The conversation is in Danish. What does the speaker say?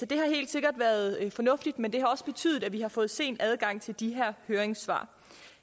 det har helt sikkert været fornuftigt men det har også betydet at vi har fået sen adgang til de her høringssvar